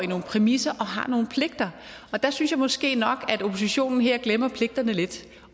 nogle præmisser og har nogle pligter og der synes jeg måske nok at oppositionen her glemmer pligterne